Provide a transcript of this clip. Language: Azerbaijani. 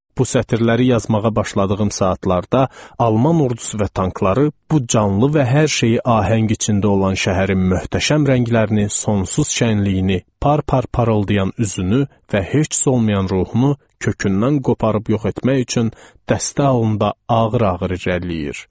Bu sətirləri yazmağa başladığım saatlarda Alman ordusu və tankları bu canlı və hər şeyi ahəng içində olan şəhərin möhtəşəm rənglərini, sonsuz şənliyini, par-par parıldayan üzünü və heç cür olmayan ruhunu kökündən qoparıb yox etmək üçün dəstə halında ağır-ağır irəliləyir.